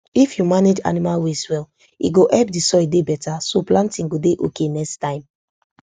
if you manage animal waste well e go help the soil dey beta so planting go dey okay next time